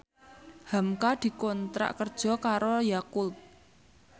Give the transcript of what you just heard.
hamka dikontrak kerja karo Yakult